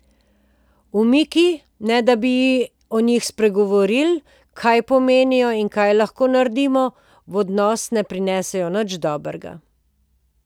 Umiki, ne da bi o njih spregovorili, kaj pomenijo in kaj lahko naredimo, v odnos ne prinesejo nič dobrega.